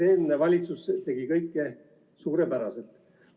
Eelmine valitsus nagu tegi kõike suurepäraselt.